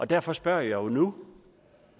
derfor spørger jeg jo nu